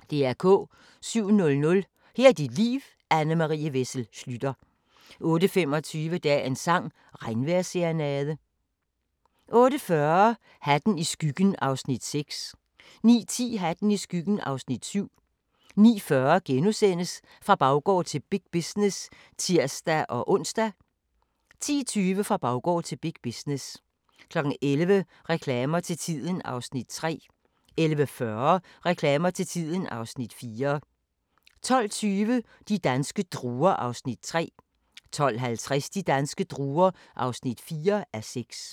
07:00: Her er dit liv – Anne Marie Wessel Schlüter 08:25: Dagens sang: Regnvejrsserenade 08:40: Hatten i skyggen (Afs. 6) 09:10: Hatten i skyggen (Afs. 7) 09:40: Fra baggård til big business *(tir-ons) 10:20: Fra baggård til big business 11:00: Reklamer til tiden (Afs. 3) 11:40: Reklamer til tiden (Afs. 4) 12:20: De danske druer (3:6) 12:50: De danske druer (4:6)